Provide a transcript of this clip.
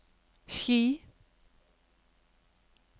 Ski